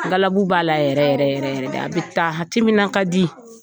Galabu b'a la yɛrɛ yɛrɛ yɛrɛ de a bɛ taa a timinankadi.